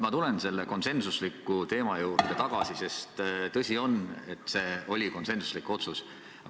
Ma tulen selle konsensuse teema juurde tagasi, sest on tõsi, et see oli konsensuslik otsus.